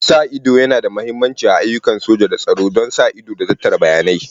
Sa ido yana da mahimmanci a ayyukan soja da tsaro don sa ido da tattara bayanai.